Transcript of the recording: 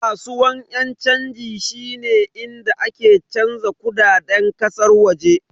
Kasuwan yan chanji shine inda ake canza kudaden kasar waje.